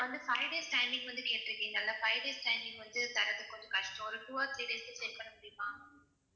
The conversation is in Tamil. இப்ப வந்து five days timing வந்து கேட்டிருக்கீங்கல்ல five days timing வந்து தர்றது கொஞ்சம் கஷ்டம் ஒரு two or three days ல set பண்ண முடியுமா?